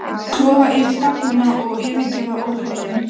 Klofa yfir staflana og yfirgefa óhljóðin.